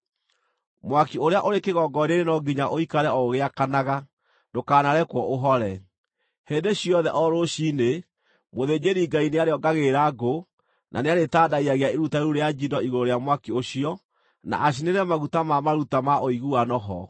Mwaki ũrĩa ũrĩ kĩgongona-inĩ no nginya ũikare o ũgĩakanaga; ndũkanarekwo ũhore. Hĩndĩ ciothe o rũciinĩ, mũthĩnjĩri-Ngai nĩarĩongagĩrĩra ngũ, na nĩarĩtandayagia iruta rĩu rĩa njino igũrũ rĩa mwaki ũcio, na acinĩre maguta ma maruta ma ũiguano ho.